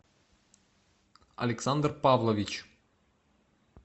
александр павлович